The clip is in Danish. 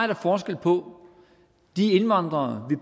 der forskel på de indvandrere